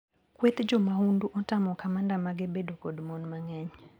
Kweth jomahundu otamo kamanda mage bedo kod mon mang`eny.